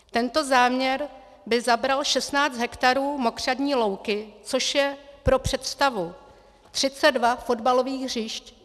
Tento záměr by zabral 16 hektarů mokřadní louky, což je pro představu 32 fotbalových hřišť.